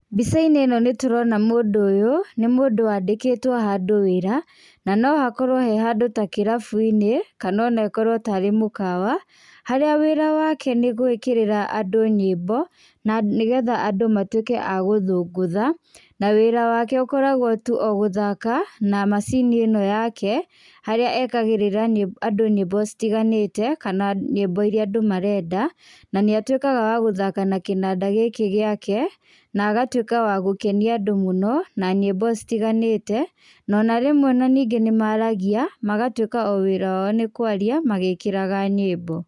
Mbica-inĩ ĩno nĩ tũrona mũndũ ũyũ, nĩ mũndũ wandĩkĩtwo handũ wĩra, na no hakorwo he handũ ta kĩrabu-inĩ kana ona ĩkorwo tarĩ mũkawa, harĩa wĩra wake nĩ gũĩkĩrĩra andũ nyĩmbo na nĩgetha andũ matuĩke a gũthũngũtha. Na wĩra wake ũkoragwo tu o gũthaka na macini ĩno yake harĩa ekagĩrĩra nyĩmbo, andũ nyĩmbo citiganĩte kana nyĩmbo iria andũ marenda. Na nĩatuĩkaga wa gũthaka na kĩnanda gĩkĩ gĩake na agatũĩka wa gũkenia andũ mũno na nyĩmbo citiganĩte. No ona rĩmwe ona ningĩ nĩ maragia magatuĩka o wĩra wao nĩ kwaria magĩkĩraga nyĩmbo.